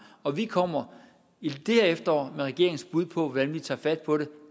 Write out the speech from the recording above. og vi kommer i det her efterår med regeringens bud på hvordan vi tager fat på det